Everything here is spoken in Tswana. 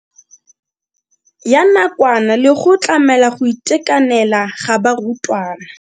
Ya nakwana le go tlamela go itekanela ga barutwana.